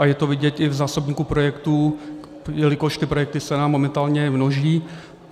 A je to vidět i v zásobníku projektů, jelikož ty projekty se nám momentálně množí.